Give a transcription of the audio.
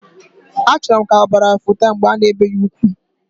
Achoro m ka obara futat mbge ana ebe ya ukwu.